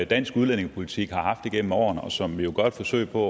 dansk udlændingepolitik har haft igennem årene og som vi jo gør et forsøg på